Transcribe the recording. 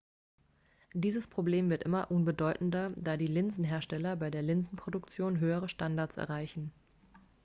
dieses problem wird immer unbedeutender da die linsenhersteller bei der linsenproduktion höhere standards erreichen